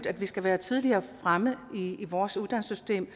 at vi skal være mere fremme i i vores uddannelsessystem